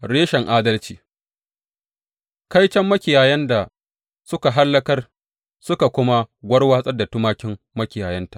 Reshen adalci Kaiton makiyayan da suka hallakar suka kuma warwatsar da tumakin makiyayanta!